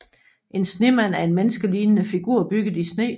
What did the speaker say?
En snemand er en menneskelignende figur bygget i sne